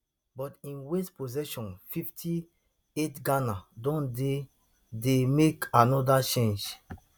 but im waste possession fifty-eightghana don dey dey make anoda change